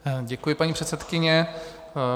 Děkuji, paní předsedkyně.